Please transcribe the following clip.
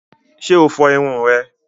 Ṣe o fo irun rẹ?